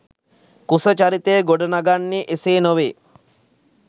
කුස චරිතය ගොඩ නගන්නේ එසේ නොවේ